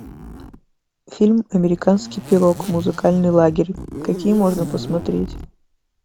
фильм американский пирог музыкальный лагерь какие можно посмотреть